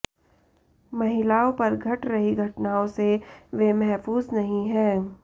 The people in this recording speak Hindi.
महिलाओं पर घट रही घटनाओं से वे महफूज नहीं हैं